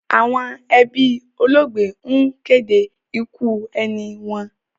Àwọn ẹbí olóògbé ń kéde ikú ẹni wọn.